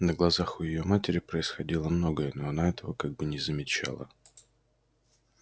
на глазах у её матери происходило многое но она этого как бы не замечала